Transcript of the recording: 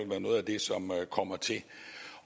være noget af det som kommer til